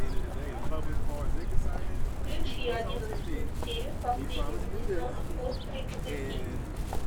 включи одиннадцатую серию последнего сезона острые козырьки